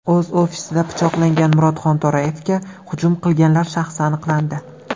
O‘z ofisida pichoqlangan Murod Xonto‘rayevga hujum qilganlar shaxsi aniqlandi .